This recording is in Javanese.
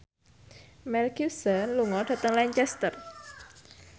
Mel Gibson lunga dhateng Lancaster